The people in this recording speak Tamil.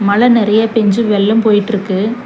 மழ நெறையா பேஞ்சு வெள்ளம் போயிட்ருக்கு.